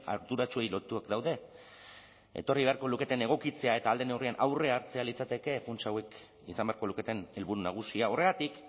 arduratsuei lotuak daude etorri beharko luketen egokitzea eta ahal den neurrian aurrea hartzea litzateke funts hauek izan beharko luketen helburu nagusia horregatik